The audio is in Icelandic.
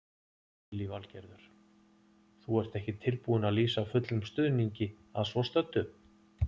Lillý Valgerður: Þú ert ekki tilbúinn að lýsa fullum stuðningi að svo stöddu?